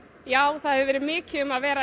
það hefur verið mikið um að vera í